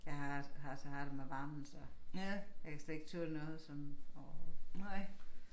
Jeg har har så har det med varmen så jeg kan slet ikke tåle noget sådan overhovedet